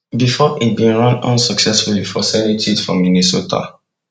bifor e bin run unsuccessfully for senate seat for minnesota